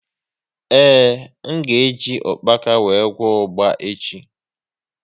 Ee, m ga e ji ukpaka wee gwọọ ugba echi